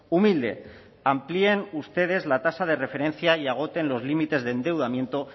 humilde amplíen ustedes la tasa de referencia y agoten los límites de endeudamiento